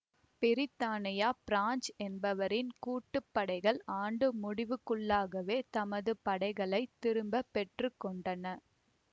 பிரித்தானியா France என்பவற்றின் கூட்டு படைகள் ஆண்டு முடிவுக்குள்ளாகவே தமது படைகளை திரும்ப பெற்று கொண்டன